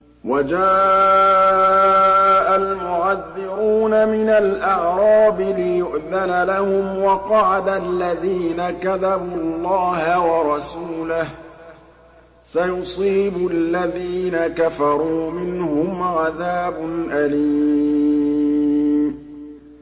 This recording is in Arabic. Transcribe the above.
وَجَاءَ الْمُعَذِّرُونَ مِنَ الْأَعْرَابِ لِيُؤْذَنَ لَهُمْ وَقَعَدَ الَّذِينَ كَذَبُوا اللَّهَ وَرَسُولَهُ ۚ سَيُصِيبُ الَّذِينَ كَفَرُوا مِنْهُمْ عَذَابٌ أَلِيمٌ